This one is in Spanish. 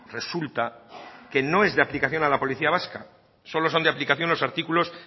resulta que no es de aplicación a la policía vasca solo son de aplicación los artículos